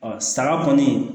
saga kɔnii